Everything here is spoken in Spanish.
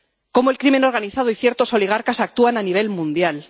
cómo el crimen organizado y ciertos oligarcas actúan a nivel mundial.